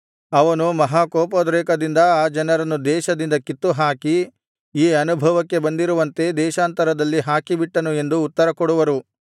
ಅವನು ಮಹಾಕೋಪೋದ್ರೇಕದಿಂದ ಆ ಜನರನ್ನು ದೇಶದಿಂದ ಕಿತ್ತುಹಾಕಿ ಈಗ ಅನುಭವಕ್ಕೆ ಬಂದಿರುವಂತೆ ದೇಶಾಂತರದಲ್ಲಿ ಹಾಕಿಬಿಟ್ಟನು ಎಂದು ಉತ್ತರ ಕೊಡುವರು